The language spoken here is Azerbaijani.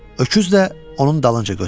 Öküz də onun dalınca götürüldü.